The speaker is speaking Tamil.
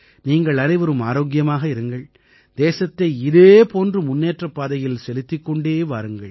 நீங்கள் அனைவரும் ஆரோக்கியமாக இருங்கள் தேசத்தை இதே போன்று முன்னேற்றப் பாதையில் செலுத்திக் கொண்டே வாருங்கள்